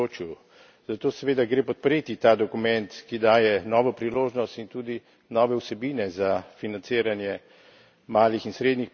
Zato seveda gre podpreti ta dokument, ki daje novo priložnost in tudi nove vsebine za financiranje malih in srednjih podjetij.